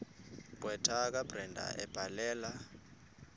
gqwetha kabrenda ebhalela